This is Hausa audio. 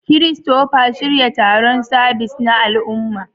Christopher, shirya taron sabis na al'umma.